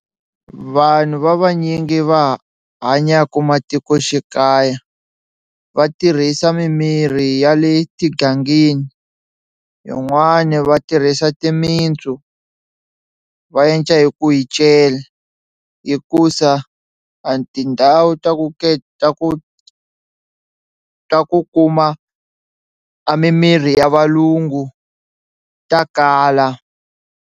Vanhu va vanyingi va hanyaku matikoxikaya va tirhisa mimirhi ya le tigangeni yin'wani va tirhisa timintsu va endla hi ku yi cela hikusa a tindhawu ta ku ta ku ta ku kuma a mimiri ya valungu ta kala.